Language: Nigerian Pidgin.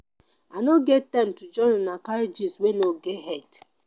i no get time to join una carry gist wey no get head.